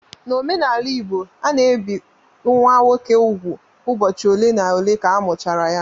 N' omenala igbo, a na-ebi nwa nwoke úgwù ụbọchị ole na ole ka amụchara ya